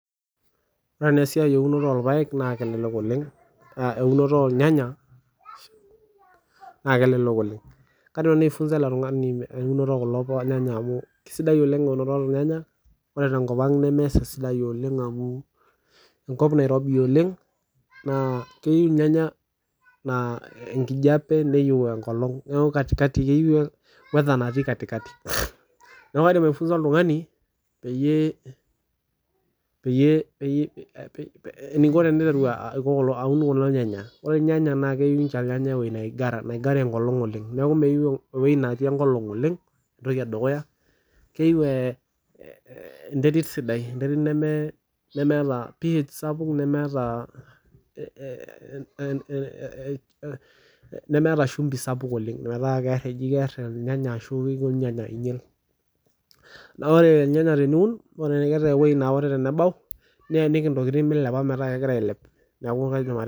Ore naa esiai ee ewunoto ornyanya naa kelelek oleng kaidim nanu aifunza[cs ele tung'ani eunoto ekulo nyanya amu kisidai oleng ore tenkop ang nemesis oleng amu enkop Nairobi oleng naa keyieu irnyenya enkijiape neyieu enkolog neeku kaidim aifunza oltung'ani peyie eniko eniteru aun kulo nyanya naa keyieu ewueji nigara enkolog oleng neeku meyieu ewueji netii enkolog neyieu enterit sidai nemetaa shimbi ore irnyanya teniun niyiniki entokitin metaa kegira ailep